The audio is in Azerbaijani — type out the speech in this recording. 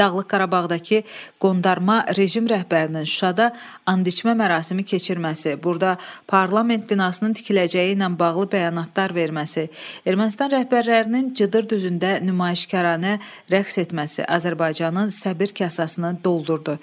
Dağlıq Qarabağdakı qondarma rejim rəhbərinin Şuşada andiçmə mərasimi keçirməsi, burada parlament binasının tikiləcəyi ilə bağlı bəyanatlar verməsi, Ermənistan rəhbərlərinin Cıdır düzündə nümayişkaranə rəqs etməsi Azərbaycanın səbr kasasını doldurdu.